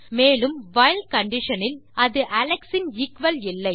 மேலும் while condition இல் அது அலெக்ஸ் இன் எக்குவல் இல்லை